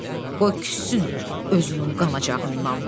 Qoy küssün özünün qanacağından.